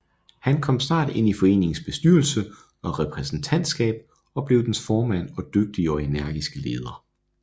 Han kom snart ind i foreningens bestyrelse og repræsentantskab og blev dens formand og dygtige og energiske leder